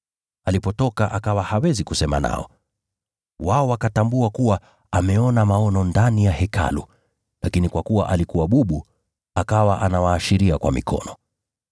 Alipotoka akawa hawezi kusema nao, wao wakatambua kuwa ameona maono ndani ya Hekalu. Lakini kwa kuwa alikuwa bubu, akawa anawaashiria kwa mikono.